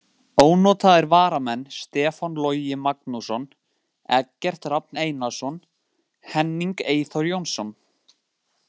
Ónotaðir varamenn: Stefán Logi Magnússon, Eggert Rafn Einarsson, Henning Eyþór Jónsson.